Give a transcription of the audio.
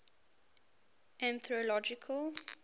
anthological